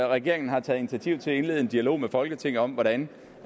regeringen har taget initiativ til at indlede en dialog med folketinget om hvordan